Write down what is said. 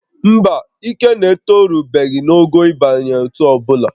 Mba, Ikenna etorubeghị ogo ịba n'ótú ọbụla